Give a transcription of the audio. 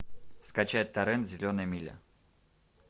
скачать торрент зеленая миля